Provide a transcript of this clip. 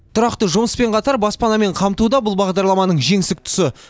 тұрақты жұмыспен қатар баспанамен қамту да бұл бағдарламаның жеңсік тұсы